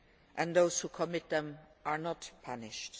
and that those who commit them are not punished.